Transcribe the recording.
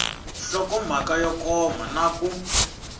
nhlokomhaka yo koma na ku